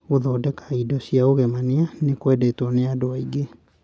Gũthondeka indo cia ũgemania nĩ kũendetwo nĩ andũ aingĩ.